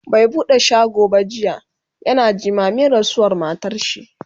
bai buɗe shago ba jiya, yana jimamin rasuwar matarshi